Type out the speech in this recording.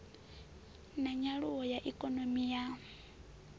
na nyaluwo ya ikonomi ya